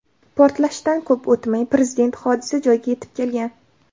Portlashdan ko‘p o‘tmay, Prezident hodisa joyiga yetib kelgan.